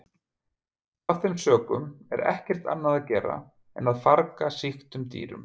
Af þeim sökum er ekkert annað að gera en að farga sýktum dýrum.